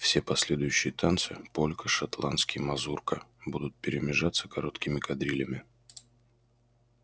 все последующие танцы полька шотландский мазурка будут перемежаться короткими кадрилями